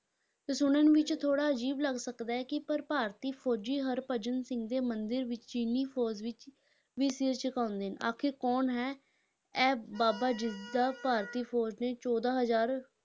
ਤੇ ਸੁਣਨ ਵਿਚ ਥੋੜਾ ਅਜੀਬ ਲੱਗ ਸਕਦਾ ਹੈ ਕਿ ਪਰ ਭਾਰਤੀ ਫੌਜ਼ੀ ਹਰਭਜਨ ਸਿੰਘ ਦੇ ਮੰਦਿਰ ਵਿਚ ਚੀਨੀ ਫੌਜ਼ ਵਿੱਚ ਵੀ ਸਿਰ ਝੁਕਾਉਂਦੇ ਨੇ, ਆਖਿਰ ਕੌਣ ਹੈ ਇਹ ਬਾਬਾ ਜਿਸ ਦਾ ਭਾਰਤੀ ਫੌਜ਼ ਨੇ ਚੌਦਾਂ ਹਜ਼ਾਰ,